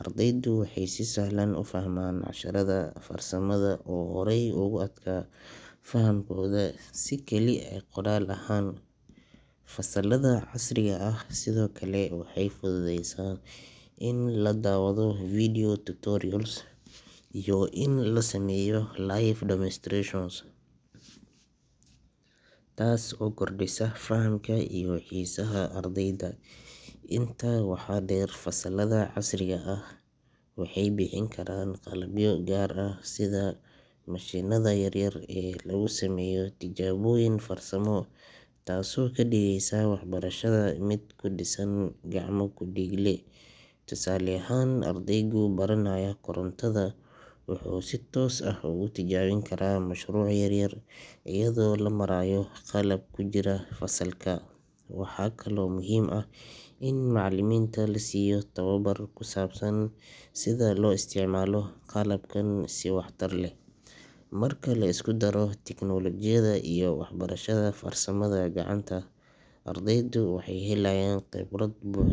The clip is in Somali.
ardaydu waxay si sahlan u fahmaan casharada farsamada oo horey ugu adkaa fahamkooda si keli ah qoraal ahaan. Fasalada casriga ah sidoo kale waxay fududeeyaan in la daawado video tutorials iyo in la sameeyo live demonstrations, taas oo kordhisa fahamka iyo xiisaha ardayda. Intaa waxaa dheer, fasalada casriga ah waxay bixin karaan qalabyo gaar ah sida mashiinada yaryar ee lagu sameeyo tijaabooyin farsamo, taasoo ka dhigeysa waxbarashada mid ku dhisan gacmo-ku-dhiigle. Tusaale ahaan, ardayga baranaya korontada wuxuu si toos ah ugu tijaabin karaa mashruuc yar iyadoo loo marayo qalab ku jira fasalka. Waxaa kaloo muhiim ah in macallimiinta la siiyo tababar ku saabsan sida loo isticmaalo qalabkan si waxtar leh. Marka la isku daro tiknoolajiyada iyo waxbarashada farsamada gacanta, ardayda waxay helayaan khibrad buux.